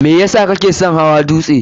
me yesa kake son hawa dutse?